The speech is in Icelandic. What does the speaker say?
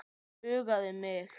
Huggaði mig.